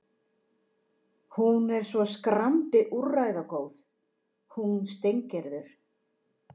Hún er svo skrambi úrræðagóð, hún Steingerður.